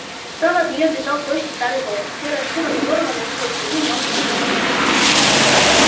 справа от неё бежал тощий старый волк серая шкура которого носила следы многих битв